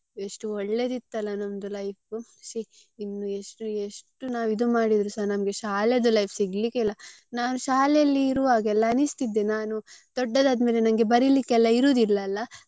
ಎಷ್ಟು ಒಳ್ಳೇದಿತ್ತಲ್ಲ ನಮ್ದು life ಶೀ ಇನ್ನು ಎಷ್ಟು ಎಷ್ಟು ನಾವ್ ಇದ್ ಮಾಡಿದ್ರೆಸಾ ನಮ್ಗೆ ಶಾಲೆದ್ದು life ಸಿಗ್ಲಿಕ್ಕೆ ಇಲ್ಲ ನಾನು ಶಾಲೆಯಲ್ಲಿ ಇರುವಗೆಲ್ಲ ಅನಿಸ್ತಿದ್ದೆ ನಾನು ದೊಡ್ಡದಾದ್ ಮೇಲೆ ನಂಗೆ ಬರಿಲಿಕ್ಕೆ ಎಲ್ಲ ಇರುದಿಲ್ಲ ಅಲ್ಲ.